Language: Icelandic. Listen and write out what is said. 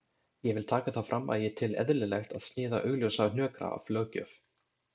Ég vil taka það fram að ég tel eðlilegt að sniða augljósa hnökra af löggjöf.